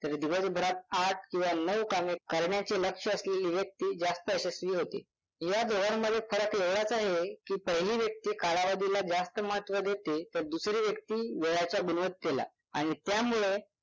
तर दिवसभरात आठ किंवा नऊ कामे करण्याचे लक्ष्य असलेली व्यक्ती जास्त यशस्वी होते. या दोघांमध्ये फरक एवढाच आहे की पहिली व्यक्ती कालावधीला जास्त महत्व देते तर दुसरी व्यक्ती वेळाच्या गुणवत्तेला आणि त्यामुळे